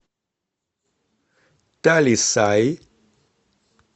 талисай